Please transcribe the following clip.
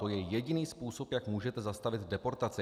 To je jediný způsob, jak můžete zastavit deportaci.